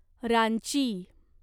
Ranchi